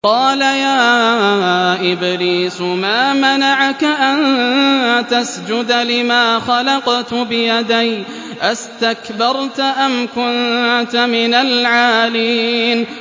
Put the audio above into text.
قَالَ يَا إِبْلِيسُ مَا مَنَعَكَ أَن تَسْجُدَ لِمَا خَلَقْتُ بِيَدَيَّ ۖ أَسْتَكْبَرْتَ أَمْ كُنتَ مِنَ الْعَالِينَ